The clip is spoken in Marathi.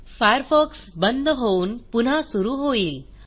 फायरफॉक्स बंद होऊन पुन्हा सुरू होईल